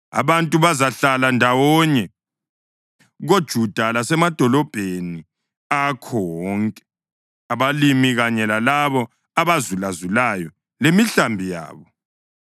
Abantu bazahlala ndawonye koJuda lasemadolobheni akhona wonke, abalimi kanye lalabo abazulazulayo lemihlambi yabo.